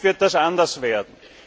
In Zukunft wird das anders werden.